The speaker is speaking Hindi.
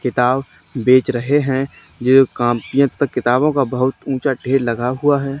किताब बेच रहे है जो कॉपियों तथा किताबों का बहुत ऊंचा ढेर लगा हुआ है।